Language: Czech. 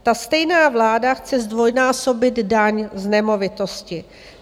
Ta stejná vláda chce zdvojnásobit daň z nemovitosti.